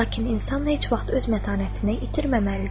Lakin insan heç vaxt öz mətanətini itirməməlidir.